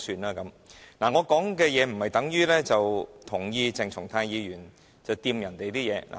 我的發言不等於我贊同鄭松泰議員碰別人的東西。